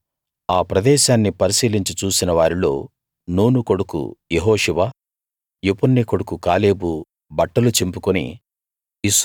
అప్పుడు ఆ ప్రదేశాన్ని పరిశీలించి చూసిన వారిలో నూను కొడుకు యెహోషువ యెఫున్నె కొడుకు కాలేబు బట్టలు చింపుకుని